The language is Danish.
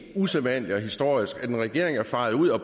usædvanligt og historisk at en regering er faret ud og